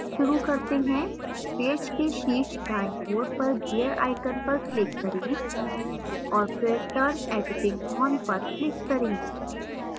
शुरू करते हैं पेज के शीर्ष दाईं ओर पर gear आइकन पर क्लिक करें और फिर turn editing on पर क्लिक करें